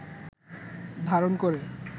ধারণ করে